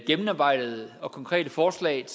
gennemarbejdede og konkrete forslag